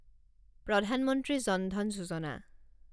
প্ৰধান মন্ত্ৰী জন ধন যোজনা